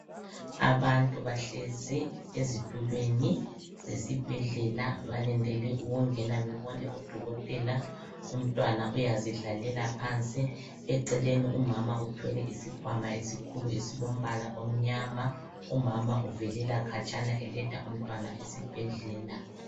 abantu bahlezi ezitulweni zesibhedlela balindele ukungena bebone u dokotela umntwana uyazidlalela phansi eceleni umama uthwele isikwama esikhulu esilombala omnyama umama uvelela khatshana eletha umntwana esibhedlela